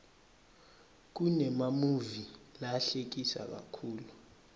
kunemamuvi lahlekisa kakhulu